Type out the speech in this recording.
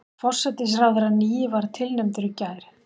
Forsætisráðherrann nýi var tilnefndur í gær